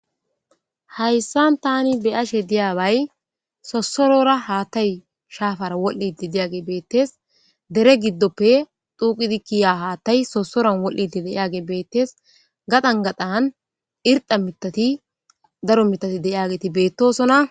hayssan tani beyashe diyabay sosorora haatay shaafara wol7iti diyage beettes dere giddoppe duqidi kiya haattay sosoran wol7iti de7age beettes gadan gadhan irda mitati daro mitati deyageeti beettosona